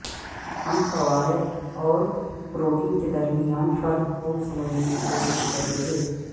ہم فوائد اور پروٹین کے درمیان فرق کو سمجھنے کی کوشش کریں گے